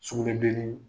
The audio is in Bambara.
Sugunɛbilenni